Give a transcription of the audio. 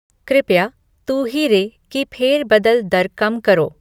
कृपया 'तू ही रे' की फेर बदल दर कम करो